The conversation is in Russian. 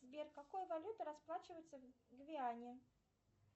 сбер какой валютой расплачиваться в гвиане